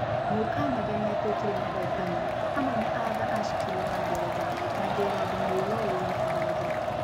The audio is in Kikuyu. Mũcanada nĩ aatuĩkire mũhootani. Hamwe na Arthur Ashkin wa Ngeretha na Gerard Mourou wa Faranja.